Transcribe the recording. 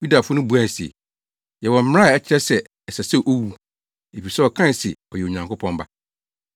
Yudafo no buae se, “Yɛwɔ mmara a ɛkyerɛ sɛ ɛsɛ sɛ owu, efisɛ ɔkae se ɔyɛ Onyankopɔn Ba.”